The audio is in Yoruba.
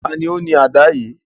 Tani o ni àdá yii?